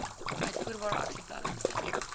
uitvoerbare aksieplanne instel